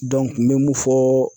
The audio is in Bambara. n be mun fɔɔ